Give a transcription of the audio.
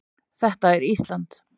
Þetta er Ísland.